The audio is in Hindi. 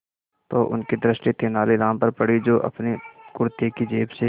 तो उनकी दृष्टि तेनालीराम पर पड़ी जो अपने कुर्ते की जेब से